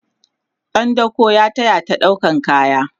ɗan dako ya tayata ɗaukan kaya